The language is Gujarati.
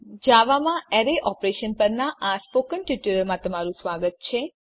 જાવામાં અરે ઓપરેશન્સ પરનાં સ્પોકન ટ્યુટોરીયલમાં સ્વાગત છે